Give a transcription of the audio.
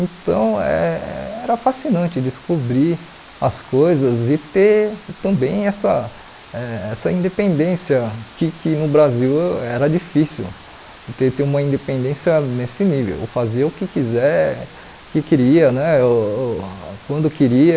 Então, eh era fascinante descobrir as coisas e ter também essa eh essa independência, que que no Brasil era difícil ter ter uma independência nesse nível, fazer o que quiser, o que queria né uh, quando queria.